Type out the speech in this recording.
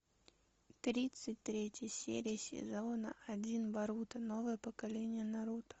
тридцать третья серия сезона один боруто новое поколение наруто